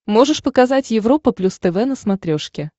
можешь показать европа плюс тв на смотрешке